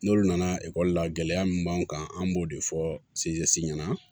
N'olu nana ekɔli la gɛlɛya min b'an kan an b'o de fɔ ɲɛna